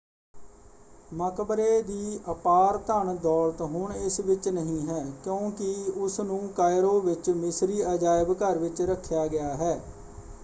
ਮਕਬਰੇ ਦੀ ਅਪਾਰ ਧੰਨ ਦੌਲਤ ਹੁਣ ਇਸ ਵਿੱਚ ਨਹੀਂ ਹੈ ਕਿਉਂਕਿ ਉਸਨੂੰ ਕਾਇਰੋ ਵਿੱਚ ਮਿਸਰੀ ਅਜਾਇਬ ਘਰ ਵਿੱਚ ਰੱਖਿਆ ਗਿਆ ਹੈ।